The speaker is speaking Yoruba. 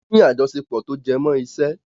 Wọ́n ní àjọṣepọ̀ tó jẹmọ́ iṣẹ́.